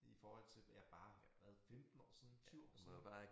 I forhold til ja bare hvad 15 år siden 20 år siden